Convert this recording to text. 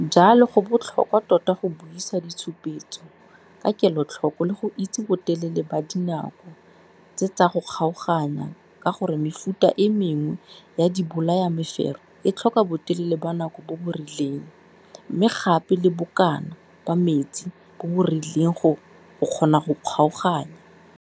Jalo go botlhokwa tota go buisa ditshupetso ka kelotlhoko le go itse botelele ba dinako tse tsa go kgaoganya ka gore mefuta e mengwe ya dibolayamefero e tlhoka botelele ba nako bo bo rileng, mme gape le bokana ba metsi bo bo rileng go kgona go kgaoganya.